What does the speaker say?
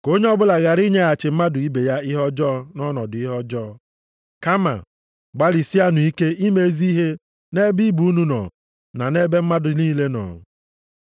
Ka onye ọbụla ghara inyeghachi mmadụ ibe ya ihe ọjọọ nʼọnọdụ ihe ọjọọ. Kama gbalịsienụ ike ime ezi ihe nʼebe ibe unu nọ na nʼebe mmadụ niile nọ.